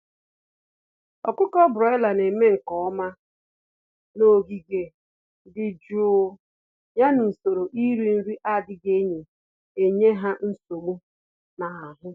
Ọkụkọ broiler némè' nke ọma n'ogige dị jụụ, ya na usoro iri nri n'adịghị enye ha nsogbu n'ahụ